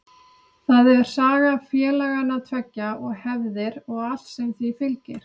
Það er saga félagana tveggja og hefðir og allt sem því fylgir.